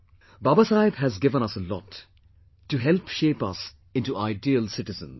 Baba Saheb has given us a lot to help shape us into ideal citizens